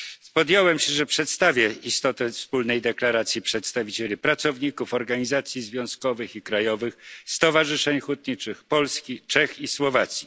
Zobowiązałem się, że przedstawię istotę Wspólnej deklaracji przedstawicieli pracowników, organizacji związkowych i krajowych stowarzyszeń hutniczych z Polski, Czech i Słowacji.